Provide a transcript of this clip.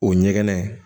O ɲɛgɛn